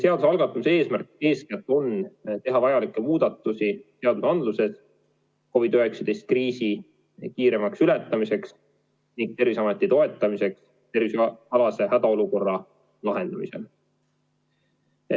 Selle algatamise eesmärk on eeskätt teha vajalikke muudatusi seadusandluses COVID-19 kriisi kiiremaks ületamiseks ning Terviseameti toetamiseks tervishoiualase hädaolukorra lahendamisel.